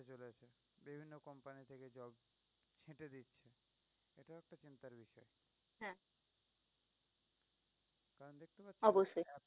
অবশ্যই